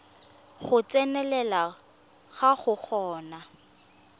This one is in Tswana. go tsenelela go go golang